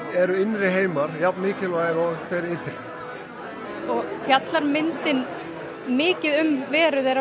eru innri heimar jafn mikilvægir og þeir ytri fjallar myndin mikið um veru þeirra á